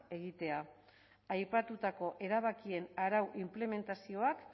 egitea aipatutako erabakien arau inplementazioak